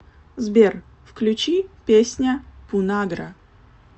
сбер включи песня пунагра